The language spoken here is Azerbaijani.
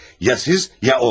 Ya siz, ya o.